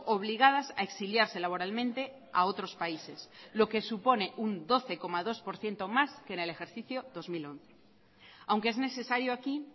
obligadas a exiliarse laboralmente a otros países lo que supone un doce coma dos por ciento más que en el ejercicio dos mil once aunque es necesario aquí